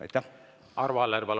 Arvo Aller, palun!